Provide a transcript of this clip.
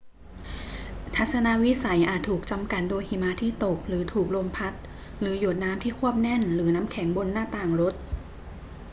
ทัศนวิสัยอาจถูกจำกัดโดยหิมะที่ตกหรือถูกลมพัด หรือหยดน้ำที่ควบแน่นหรือน้ำแข็งบนหน้าต่างรถ